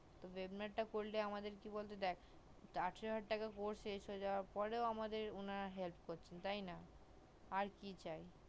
তো webinar করলে আমাদের কি বোলো তো দেখ আঠারো হাজার টাকা course শেষ হওয়ার পর ও উনারা আমাদের help করছে তাই না আর কি চাই